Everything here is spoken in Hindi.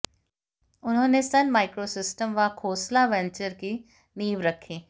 उन्होंने सन माइक्रोसिस्टम व खोसला वेंचर की नींव रखी